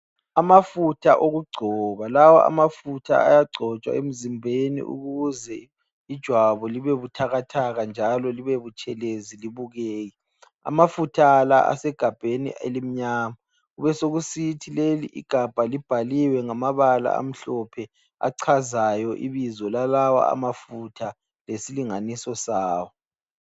Amafutha okugcoba. Lawa amafutha ayagcotshwa emzimbeni ukuze ijwabu libe buthakathaka njalo libe butshelezi libukeke. Amafutha la asegabheni elimnyama. Kubesokusithi leli igabha libhaliwe ngamabala amhlophe achazayo ibizo lalawa amafutha lesilinganiso sawo.